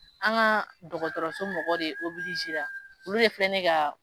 An ka dɔgɔtɔrɔso mɔgɔ de olu de filɛ nin ye ka